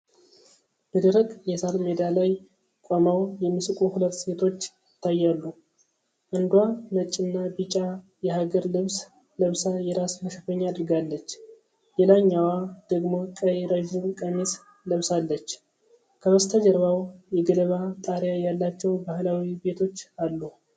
በደረቅ የሳር ሜዳ ላይ ቆመው የሚስቁ ሁለት ሴቶች ይታያሉ። አንዷ ነጭና ቢጫ የሀገር ልብስ ለብሳ የራስ መሸፈኛ አድርጋለች፤ ሌላኛዋ ደግሞ ቀይ ረዥም ቀሚስ ለብሳለች። ከበስተጀርባው የገለባ ጣሪያ ያላቸው ባህላዊ ቤቶች አሉ።